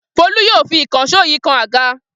Folú yóò fi ìkànṣó yìí kan àga!